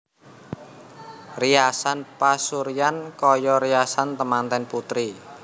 Riasan pasuryan kaya riasan temanten putri